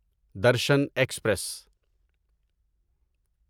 Darshan express